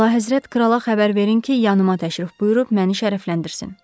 Əlahəzrət, krala xəbər verin ki, yanımaq təşrif buyurub məni şərəfləndirsin.